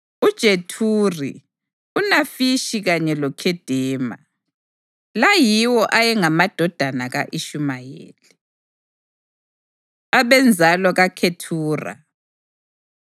uJethuri, uNafishi kanye loKhedema. La yiwo ayengamadodana ka-Ishumayeli. Abenzalo KaKhethura